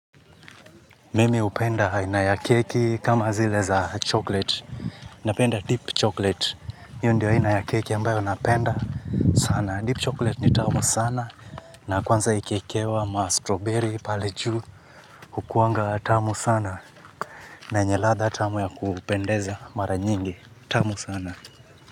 Mimi hupenda aina ya keki kama zile za chocolate. Napenda deep chocolate. Hiyo ndio aina ya keki ambayo napenda sana. Deep chocolate ni tamu sana. Na kwanza ikiikewa ma strawberry pale juu. Hukuanga tamu sana. Na yenye ladha tamu ya kupendeza mara nyingi. Tamu sana.